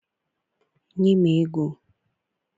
nye m ego!